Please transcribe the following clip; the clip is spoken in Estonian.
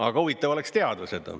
Aga huvitav oleks teada.